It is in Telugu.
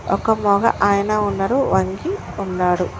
ఒక మోగ ఆయన ఉన్నారు వంగి ఉన్నాడు.